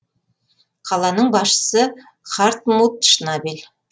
қаланың басшысы хартмут шнабель